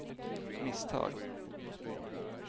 misstag